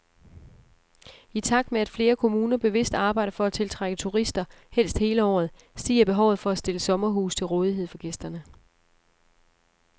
I takt med at flere kommuner bevidst arbejder for at tiltrække turister, helst hele året, stiger behovet for at stille sommerhuse til rådighed for gæsterne.